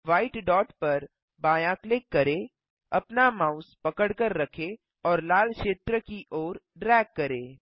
white dot पर बायाँ click करें अपना माउस पकड़कर रखें और लाल क्षेत्र की ओर ड्रैग करें